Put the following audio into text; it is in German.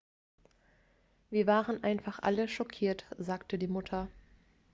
wir waren einfach alle schockiert sagte die mutter